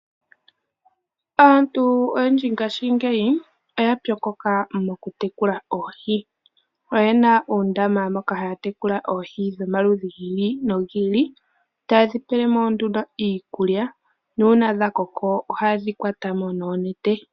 Aantu oyendji ngashingeyi oya pyokoka moku tekula oohi . Oyena uundama moka haya tekula oohi dhomaludhi gi ili nogi ili ,tayedhi pelemo nduno iikulya nuuna dha koko oha yedhi kwatamo noonete.